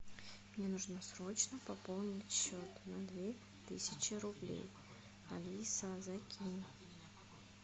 мне нужно срочно пополнить счет на две тысячи рублей алиса закинь